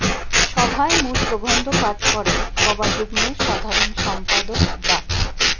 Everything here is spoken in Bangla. সভায় মূল প্রবন্ধ পাঠ করেন পবা যুগ্ম সাধারণ সম্পাদক ডা